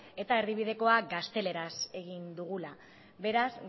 eta erdibidekoa gazteleraz egin dugula beraz